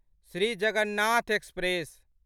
Shri Jagannath express